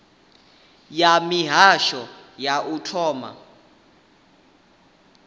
ya mihasho ya u thoma